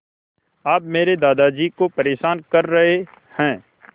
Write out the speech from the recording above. आप मेरे दादाजी को परेशान कर रहे हैं